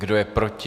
Kdo je proti?